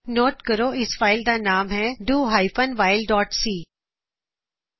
note ਕਰੋ ਇਸ file ਦਾ ਨਾਂ ਹੈ do hyphen while dot C do whileਸੀ